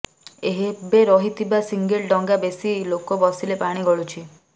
ଏବେ ରହିଥିବା ସିଙ୍ଗଲ ଡଙ୍ଗା ବେଶି ଲୋକ ବସିଲେ ପାଣି ଗଳୁଛି